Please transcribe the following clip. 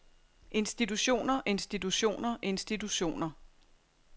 institutioner institutioner institutioner